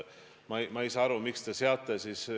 Kuidas sa seda Eesti inimestele seletad?